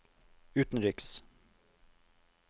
utenriks